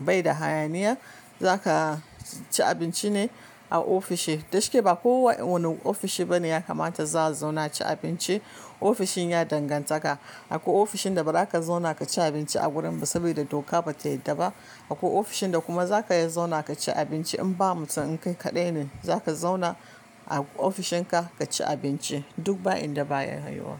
baida hayaniya zakaci abinci ne kawai a ofishi da shike ba kowane ofishi bane ya kamata za a zauna aci abinci. Ofishin ya danganta ka. Akwai ofishin da ba za ka zauna ka ci abinci a gurin ba saboda doka ba ta yadda ba. Akwai ofishin da kuma za ka iya zauna ka ci abinci in ba mutum inkai kaɗai ne, za ka zauna a ofishin ka ka ci abinci duk ba inda ba ya yuwa.